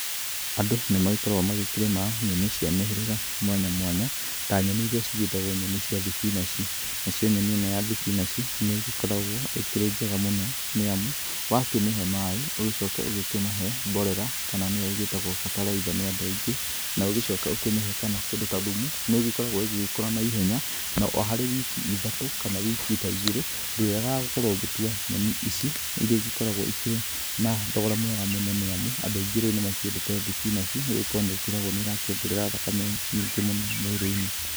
Andũ nĩ magĩkoragwo magĩkĩrĩma nyeni cia mĩhĩrĩga mwanya mwanya ta nyeni iria cigĩtagwo nyeni cia thibinaji nacio nyeni ĩno ya thibinaji nĩ ĩgĩkoragwo ĩrĩ njega mũno nĩ amũ wakĩmĩhe maĩ ũgĩcoke ũkĩmahe mborera kana nĩyo ĩgĩtagwo mbataraitha nĩ andũ aingĩ na ũgĩcoke ũkĩmĩhe kĩndũ ta thumu nĩ ĩgĩkoragwo ĩgĩkũra na ihenya na harĩ wiki ta ithatu kana wiki ta igĩrĩ ndũrĩagaga gũkorwo ũgĩtua nyeni ici irĩa igĩkoragwo ikĩrĩ na thogora mwega nĩ amu andũ aingĩ rĩu nĩ makĩndete thibinaji nĩ gũkorwo nĩ ĩkĩragwo nĩ ĩrokĩongerera thakame nyingĩ mũno mwĩrĩ-inĩ.